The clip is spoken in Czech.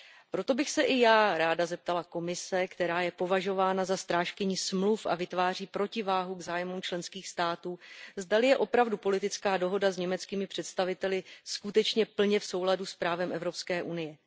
Proto bych se i já ráda zeptala Komise, která je považována za strážkyni Smluv a vytváří protiváhu k zájmům členských států, zdali je opravdu politická dohoda s německými představiteli skutečně plně v souladu s právem Evropské unie.